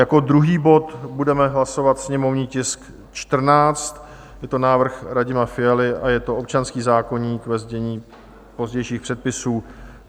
Jako druhý bod budeme hlasovat sněmovní tisk 14, je to návrh Radima Fialy a je to občanský zákoník, ve znění pozdějších předpisů.